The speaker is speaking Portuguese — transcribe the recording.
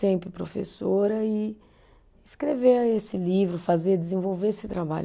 Sempre professora e escrever esse livro, fazer, desenvolver esse trabalho.